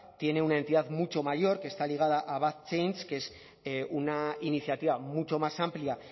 tiene una entidad mucho mayor que está ligada a que es una iniciativa mucho más amplia